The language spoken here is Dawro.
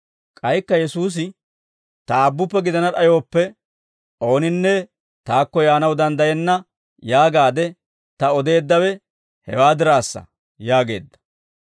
K'aykka Yesuusi, «Ta Aabbuppe gidana d'ayooppe ooninne taakko yaanaw danddayenna yaagaade ta odeeddawe hewaa diraassa» yaageedda.